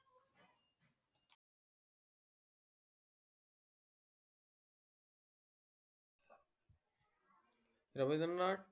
Rabindranath Tagore